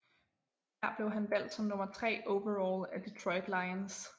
Her blev han valgt som nummer 3 overall af Detroit Lions